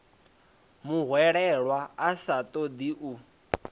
muhwelelwa a sa ṱoḓi u